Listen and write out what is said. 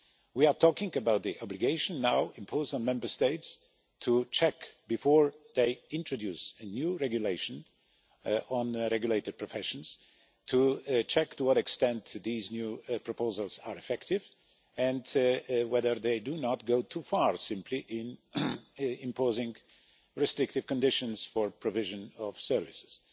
We are talking about the obligation now imposed on Member States, before they introduce a new regulation on regulated professions, to check to what extent these new proposals are effective, and whether they do not go too far in simply imposing restrictive conditions for provision of services.